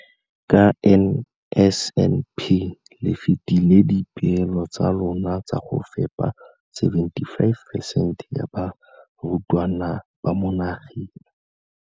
Ka NSNP le fetile dipeelo tsa lona tsa go fepa 75 percent ya barutwana ba mo nageng.